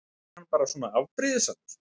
Var hann bara svona afbrýðisamur?